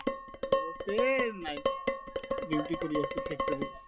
লগতে এই night duty কৰি আছো factory ত